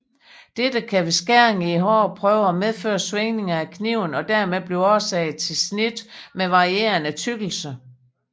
Dette kan ved skæring i hårde prøver medføre svingninger af kniven og dermed blive årsag til snit med varierende tykkelse